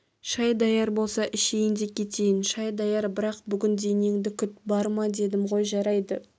шай даяр болса ішейін де кетейін шай даяр бірақ бүгін денеңді күт барма дедім ғой жарайды